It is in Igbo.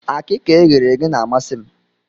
Akịka eghere eghe na-amasị m.